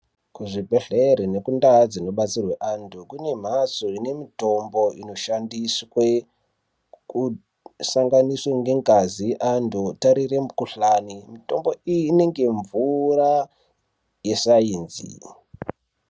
Kuzvibhedhleri nekundaa dzinobetserwe antu kune mhatso ine mitombo inoshandiswe kusanganiswe ngengazi antu tarire mukhuhlani mitombo iyi inenge mvura yesainzi.